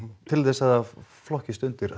til þess að það flokkist undir